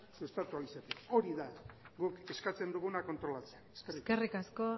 sustatu ahal izateko hori da guk eskatzen duguna kontrolatzea eskerrik asko